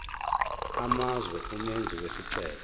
amazwe umenzi wesicelo